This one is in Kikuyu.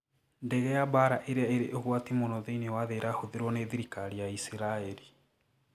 Ndege ya mbaara iria irĩ ũgwati mũno thĩinĩ wa thĩ ĩrahũthĩrwo nĩ thirikari ya Isiraeli